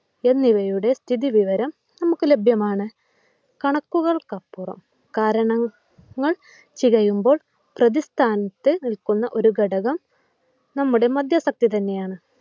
എന്നിവയുടെ സ്ഥിതിവിവരം നമുക്ക് ലഭ്യമാണ്. കണക്കുകൾക്കപ്പുറം കാരണങ്ങൾ ചികയുമ്പോൾ പ്രതിസ്ഥാനത്ത് നിൽക്കുന്ന ഒരു ഘടകം നമ്മുടെ മദ്യാസക്തിത്തന്നെയാണ്.